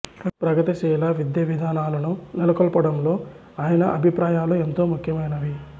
ప్రగతిశీల విద్యా విధానాలను నెలకొల్పడంలో ఆయన అభిప్రాయాలు ఎంతో ముఖ్యమైనవి